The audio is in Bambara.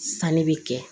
Sanni bɛ kɛ